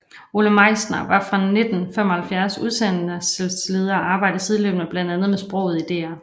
Ole Meisner var fra 1975 udsendelsesleder og arbejdede sideløbende blandt andet med sproget i DR